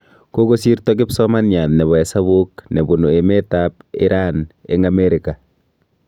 Kokosirto kipsomaniat nebo hesabuk ne bunu emet ab iran eng' Ameriga